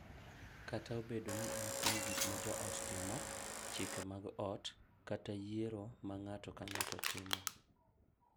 Kata obedo ni en kuom gik ma joot timo, chike mag ot, kata yiero ma ng’ato ka ng’ato timo—